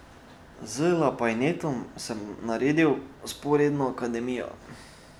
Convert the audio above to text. Z Lapajnetom sem naredil vzporedno Akademijo.